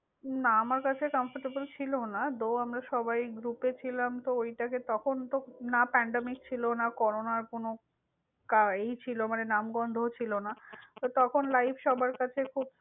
না, আমার কাছে comfortable ছিলনা। Though আমরা সবাই group এ ছিলাম তো ওইটাকে তখন তো না pandemic ছিল, না করোনার কোন এই নামগন্ধও ছিলনা। তো তখন life সবার কাছে খুব।